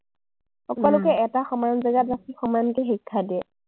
সকলোকে এটা সমান জেগাত ৰাখি সমানকে শিক্ষা দিয়ে।